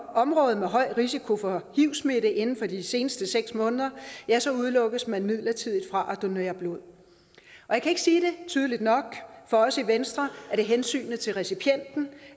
område med høj risiko for hivsmitte inden for de seneste seks måneder ja så udelukkes man midlertidigt fra at donere blod jeg kan ikke sige det tydeligt nok for os i venstre er det hensynet til recipienten